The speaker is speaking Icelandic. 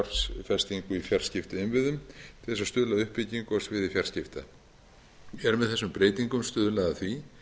fjarskiptainnviðum til þess að stuðla að uppbyggingu á sviði fjarskipta er með þessum breytingum stuðlað að því